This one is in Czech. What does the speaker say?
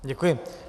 Děkuji.